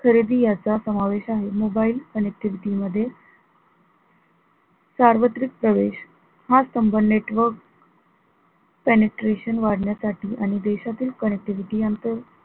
खरेदी याचा समावेश आहे mobile connectivity मध्ये सार्वत्रिक प्रवेश हा स्तंभ network penetration वाढण्यासाठी आणि देशातील connectivity यांत,